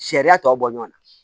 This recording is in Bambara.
Sariya tɔ bɔ ɲɔn na